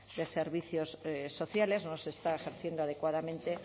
de servicios sociales no se está ejerciendo adecuadamente